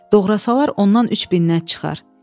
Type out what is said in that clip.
Doğrasalar ondan 3 minnət çıxar.